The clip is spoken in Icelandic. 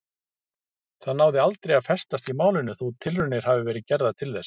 Það náði aldrei að festast í málinu þótt tilraunir hafi verið gerðar til þess.